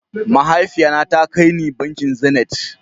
Mahaifiya na ta kar ni bankin "zenith".